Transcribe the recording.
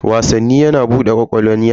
Wasanni yana bude ƙwaƙwalwan yara.